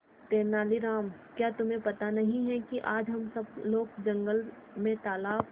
तेनालीराम क्या तुम्हें पता नहीं है कि आज हम सब लोग जंगल में तालाब